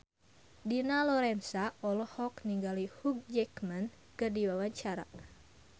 Dina Lorenza olohok ningali Hugh Jackman keur diwawancara